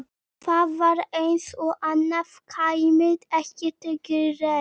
Það var eins og annað kæmi ekki til greina.